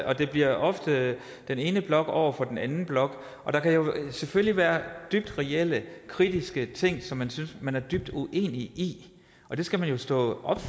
og det bliver ofte den ene blok over for den anden blok der kan jo selvfølgelig være dybt reelle kritiske ting som man synes man er dybt uenig i og dem skal man jo stå op